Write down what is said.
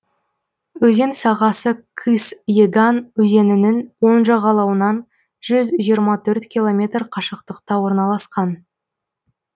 өзен сағасы кыс еган өзенінің оң жағалауынан жүз жиырма төрт километр қашықтықта орналасқан